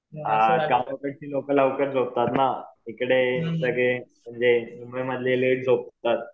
हां गावाकडची लोकं लवकर झोपतात ना. इकडे सगळे म्हणजे मुंबई मधले लेट झोपतात.